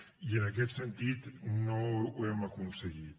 i en aquest sentit no ho hem aconseguit